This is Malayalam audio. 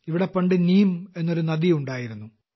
ഇവിടെ പണ്ട് നീം എന്നൊരു നദി ഉണ്ടായിരുന്നു